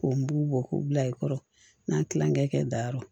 K'o n b'u bɔ k'u bila i kɔrɔ n'a kilankɛ kɛ dayɔrɔ